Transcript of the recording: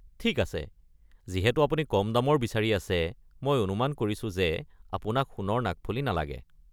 ঠিক আছে, যিহেতু আপুনি কম দামৰ বিচাৰি আছে, মই অনুমান কৰিছো যে আপোনাক সোণৰ নাকফুলি নালাগে।